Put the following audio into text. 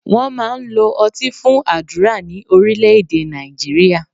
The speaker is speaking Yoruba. Wọ́n máa ń lo ọtí fún àdúrà ní Orílẹ́èdè Nàìjíríà